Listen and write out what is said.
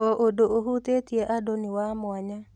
O ũndũ ũhutĩtie andũ nĩ wa mwanya.